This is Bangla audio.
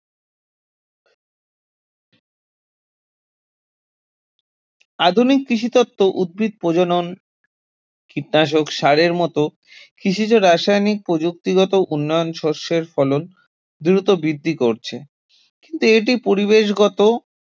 আধুনিক কৃষিতত্ত্ব, উদ্ভিদ প্রজনন, কীটনাশক সারের মত কৃষিজ রাসায়নিক প্রযুক্তিগত উন্নয়ন শস্যের ফলন দ্রুত বৃদ্ধি করছে কিন্তু এটি পরিবেশগত